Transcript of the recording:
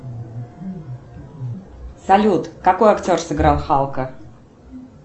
салют какой актер сыграл халка